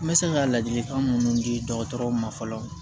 N bɛ se ka ladilikan minnu di dɔgɔtɔrɔ ma fɔlɔ